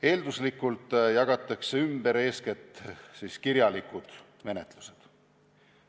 Eelduslikult jagatakse ümber eeskätt kirjalikud menetlused.